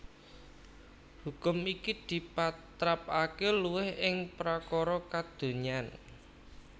Hukum iki dipatrapaké luwih ing prakara kadonyan